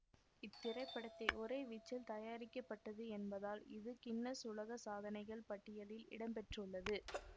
இத்திரைப்படத்தை ஒரே வீச்சில் தயாரிக்கப்பட்டது என்பதால் இது கின்னஸ் உலக சாதனைகள் பட்டியலில் இடம்பெற்றுள்ளது